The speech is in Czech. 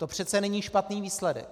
To přece není špatný výsledek.